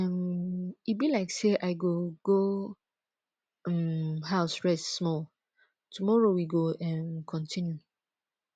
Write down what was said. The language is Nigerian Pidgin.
um e be like say i go go um house rest small tomorrow we go um continue